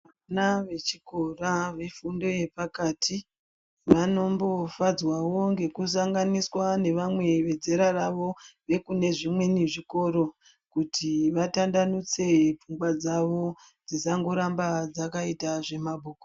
Vana vechikora vefundo yepakati vanombofadzwawo ngekusanganiswa nevamwe vezera ravo vekunezvimweni zvikora kuti vatambanudze pfungwa dzawo dzisangoramba dzakaita zvemabhuku.